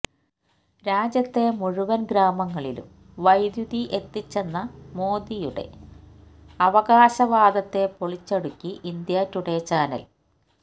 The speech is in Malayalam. രാജ്യത്തെ മൂഴുവന് ഗ്രാമങ്ങളിലും വൈദ്യുതി എത്തിച്ചെന്ന മോദിയുടെ അവകാശവാദത്തെ പൊളിച്ചടുക്കി ഇന്ത്യ ടുഡെ ചാനല്